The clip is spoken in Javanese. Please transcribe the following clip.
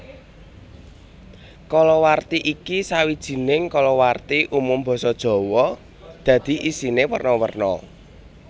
Kalawarti iki sawijining kalawarti umum basa Jawa dadi isiné werna werna